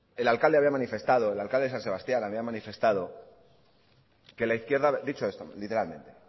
el alcalde había manifestado el alcalde de san sebastián había manifestado dicho esto literalmente